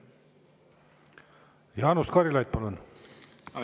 Jaanus Karilaid, palun!